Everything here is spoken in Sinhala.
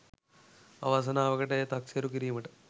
අවසනාවකට එය තක්සේරුකිරීමට